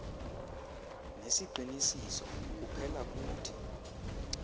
nesiqinisiso kuphela kuthi